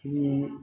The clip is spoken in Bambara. Ni